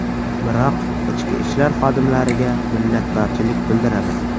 Biroq ichki ishlar xodimlariga minnatdorchilik bildiraman.